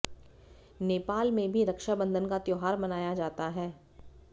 नेपाल में भी रक्षाबंधन का त्योहार मनाया जाता है